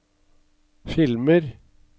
filmer